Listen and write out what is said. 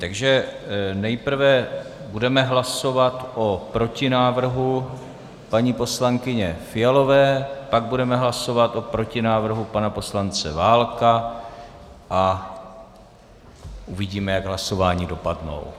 Takže nejprve budeme hlasovat o protinávrhu paní poslankyně Fialové, pak budeme hlasovat o protinávrhu pana poslance Válka a uvidíme, jak hlasování dopadnou.